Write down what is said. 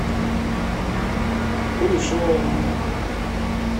кулешовым